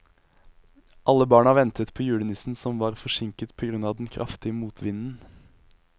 Alle barna ventet på julenissen, som var forsinket på grunn av den kraftige motvinden.